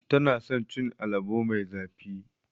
Tana son cin alabo mai zafi.